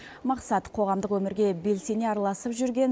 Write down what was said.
мақсат қоғамдық өмірге белсене араласып жүрген